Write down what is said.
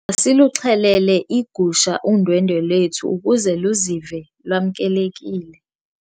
Masiluxhelele igusha undwendwe lethu ukuze luzive lwamkelekile.